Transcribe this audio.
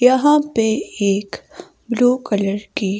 यहां पे एक ब्लू कलर की--